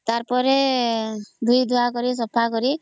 ତା ପରେ ଧୁଇ ଧୁଆ କିରି ସଫା କରି